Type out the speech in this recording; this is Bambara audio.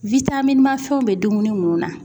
man fɛnw be dumuni munnu na.